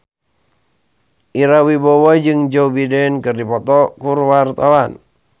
Ira Wibowo jeung Joe Biden keur dipoto ku wartawan